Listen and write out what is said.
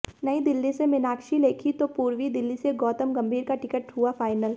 नई दिल्ली से मीनाक्षी लेखी तो पूर्वी दिल्ली से गौतम गंभीर का टिकट हुआ फाइनल